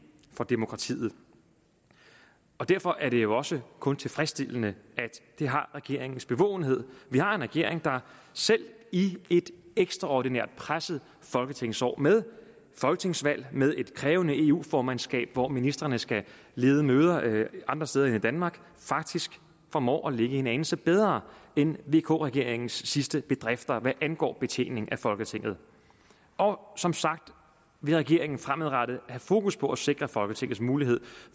for demokratiet derfor er det jo også kun tilfredsstillende at det har regeringens bevågenhed vi har en regering der selv i et ekstraordinært presset folketingsår med folketingsvalg og med et krævende eu formandskab hvor ministrene skal lede møder andre steder end i danmark faktisk formår at ligge en anelse bedre end vk regeringens sidste bedrifter hvad angår betjening af folketinget og som sagt vil regeringen fremadrettet have fokus på at sikre folketingets mulighed